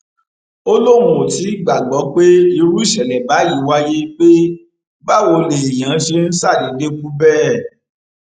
ó lóun ò tí ì gbàgbọ pé irú ìṣẹlẹ báyìí wáyé pé báwo lèèyàn ṣe ń ṣàdédé kú bẹẹ